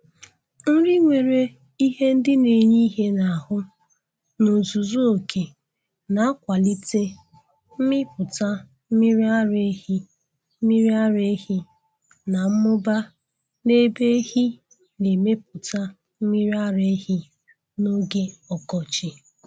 Nri nwere ihe ndị na-enye ihe n'ahụ n' ozuzu oke na-akwalite mmipụta mmiri ara ehi mmiri ara ehi na mmụba n' ebe ehi na-emepụta mmiri ara ehi n'oge ọkọchị.